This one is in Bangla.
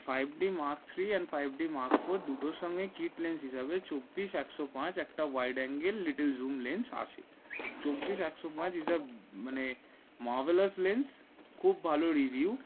five d mark three and five d mark four দুটোর সঙ্গে kit লেন্স হিসাবে চব্বিস এখশো পাচ একটা Wide angle little zoom lens lens আছে চব্বিশ একশ পাচ হিসাব মানে marvelous lens লেন্স খুব ভালো review